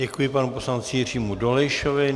Děkuji panu poslanci Jiřímu Dolejšovi.